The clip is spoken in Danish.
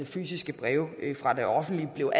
fysiske breve fra det offentlige var